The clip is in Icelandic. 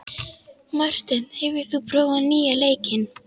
Marteinn, hefur þú prófað nýja leikinn?